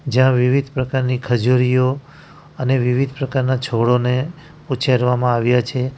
જ્યાં વિવિધ પ્રકારની ખજૂરીઓ અને વિવિધ પ્રકારના છોડોને ઉછેરવામાં આવ્યા છે.